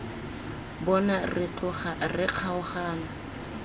bona re tloga re kgaogana